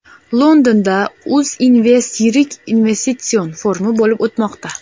Londonda UzInvest yirik investitsion forumi bo‘lib o‘tmoqda.